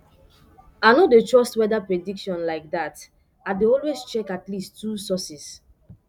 i no dey trust weather prediction like that i dey always check at least two sources